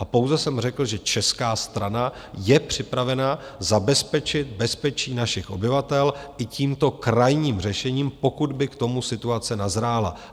A pouze jsem řekl, že česká strana je připravena zabezpečit bezpečí našich obyvatel i tímto krajním řešením, pokud by k tomu situace nazrála.